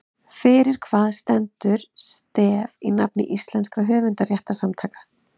Fyrir hvað stendur STEF í nafni íslenskra höfundarréttarsamtaka?